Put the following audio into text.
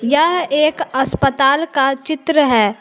यह एक अस्पताल का चित्र है।